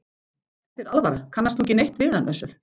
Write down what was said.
Er þér alvara, kannast þú ekki neitt við hann Össur?